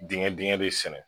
Dingɛ dingɛ bɛ sɛnɛ